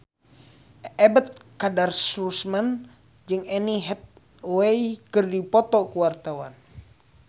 Ebet Kadarusman jeung Anne Hathaway keur dipoto ku wartawan